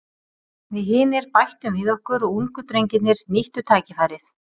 Við hinir bættum við okkur og ungu drengirnir nýttu tækifærið.